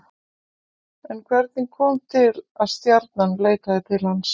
En hvernig kom til að Stjarnan leitaði til hans?